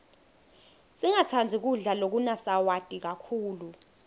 singatsandzi kudla lokunasawati kakhulu